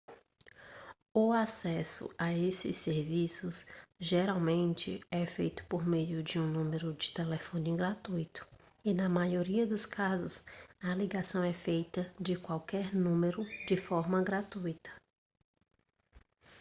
o acesso a esses serviços geralmente é feito por meio de um número de telefone gratuito e na maioria dos casos a ligação é feita de qualquer número de forma gratuita